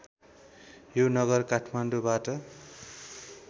यो नगर काठमाडौँबाट